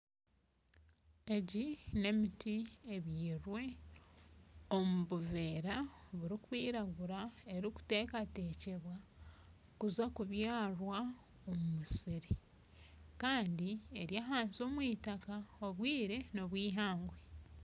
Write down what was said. Egi n'emiti ebyirwe omu buveera bukwiragura erikuteekateekwa kuza kubyarwa omu musiri Kandi eri ahansi omu itaka obwire n'obwihangwe.